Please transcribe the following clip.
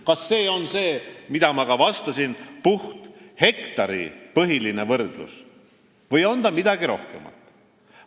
Kas see on, nagu ma vastasin, puhthektaripõhine võrdlus või on see midagi rohkemat?